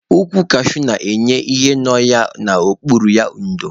Ukwu kashuu na-enye ihe nọ n'okpuru ya ndo